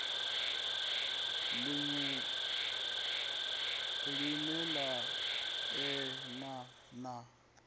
liṅwe line la elana na